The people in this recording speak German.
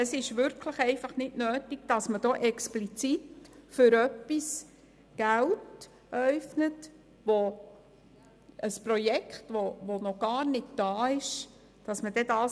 Es ist wirklich nicht nötig, hier explizit für ein Projekt Geld zu äufnen, das noch gar nicht existiert.